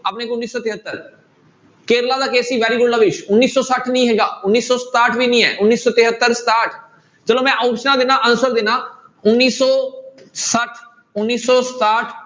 ਉੱਨੀ ਸੌ ਤਹੇਤਰ ਕੇਰਲਾ ਦਾ case ਸੀ very good ਲਵੀਸ ਉੱਨੀ ਸੌ ਛੱਠ ਨੀ ਹੈਗਾ, ਉੱਨੀ ਸੌ ਸਤਾਹਠ ਵੀ ਨੀ ਹੈ, ਉੱਨੀ ਸੌ ਤਹੇਤਰ, ਸਤਾਹਠ ਚਲੋ ਮੈਂ ਆਪਸਨਾਂ ਦਿਨਾ answer ਦਿਨਾ ਉੱਨੀ ਸੌ ਛੱਠ, ਉੱਨੀ ਸੌ ਸਤਾਹਠ